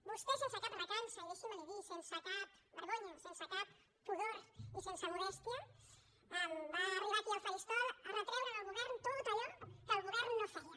vostè sense cap recança i deixi’m que li ho digui sense cap vergonya sense cap pudor i sense modèstia va arribar aquí al faristol a retreure al govern tot allò que el govern no feia